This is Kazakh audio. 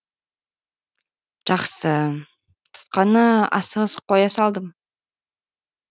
жақсы тұтқаны асығыс қоя салдым